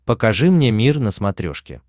покажи мне мир на смотрешке